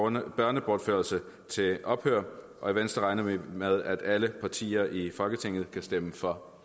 en børnebortførelse til ophør og i venstre regner vi med at alle partier i folketinget kan stemme for